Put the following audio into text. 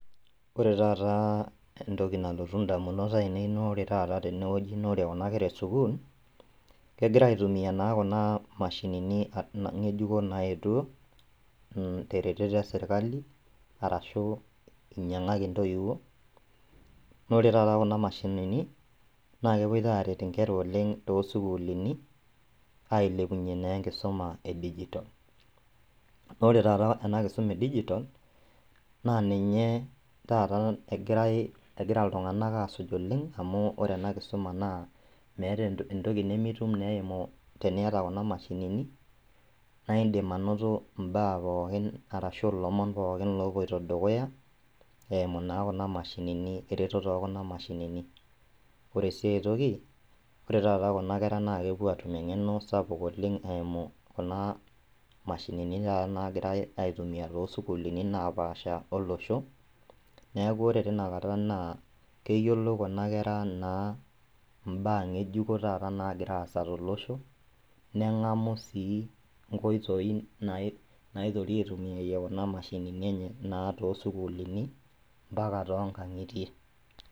Ore taataa entoki nalotu indamunot ainei naore tata tenewueji naore kuna kera esukul, kegira aitumia naa kuna mashinini ng'ejuko naetuo teretoto eserkali arashu einyang'aki intoiwuo. Naore tata kuna mashinini naakepuoita aret inkera oleng' toosukulini ailepunye naa enkisoma edigitol. Naore tata ena kisoma edigitol naaninye tata egirai egira iltung'anak asuj oleng' amu ore ena kisoma naa meeta entoki nimitum neeiku teniata kuna mashinini naaindim anoto imbaa pookin arashu ilomon pookin loopuoito dukuya eimu naa kuna mashinini eretoto ookuna mashinini. Ore sii aitoki ore tata kuna kera nakepuo atum eng'eno sapuk oleng' eimu kunaa mashinini tata naigirai aitumia toosukulini naapaasha olosho. Neaku ore tinakata naa keyiolou kuna kera naa imbaa ng'ejuko taata nagiraasa tolosho neng'amu sii inkoitoi nai naitoki aitumiaye kuna mashinini enye naa toosukulini mpaka tongang'itie.